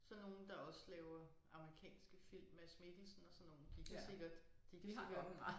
Sådan nogle der også laver amerikanske film Mads Mikkelsen og sådan nogle de kan sikkert de kan sikkert